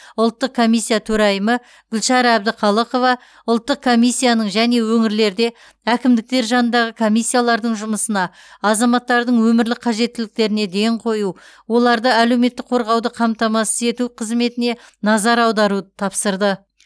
ұлттық комиссия төрайымы гүлшара әбдіқалықова ұлттық комиссияның және өңірлерде әкімдіктер жанындағы комиссиялардың жұмысына азаматтардың өмірлік қажеттіліктеріне ден қою оларды әлеуметтік қорғауды қамтамасыз ету қызметіне назар аударуды тапсырды